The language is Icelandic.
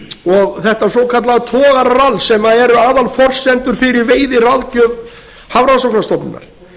og þetta svokallaða togararall sem eru aðalforsenda fyrir veiðiráðgjöf hafrannsóknastofnunar